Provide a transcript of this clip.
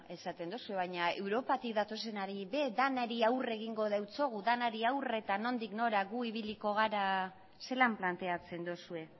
esaten duzue baina europatik datozenari ere denari aurre egingo diogu zelan planteatzen duzue